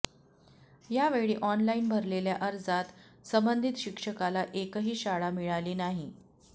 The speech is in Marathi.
यावेळी ऑनलाईन भरलेल्या अर्जात संबंधित शिक्षकाला एकही शाळा मिळाली नाही